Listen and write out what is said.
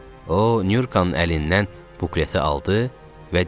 O Nurkanın əlindən bukleti aldı və dedi: